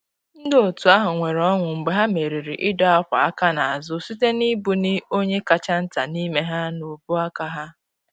Ndị otu ahụ nwere ọṅụ mgbe ha merịrị ịdọ akwa aka n’azụ, site na ibu ni onye kacha nta n’ime ha n’ubu aka ha.